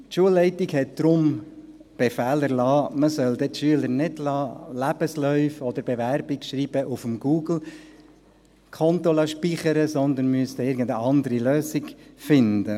Die Schulleitung hat darum den Befehl erlassen, man solle die Schüler nicht Lebensläufe oder Bewerbungsschreiben auf dem Google-Konto speichern lassen, sondern man müsse eine andere Lösung finden.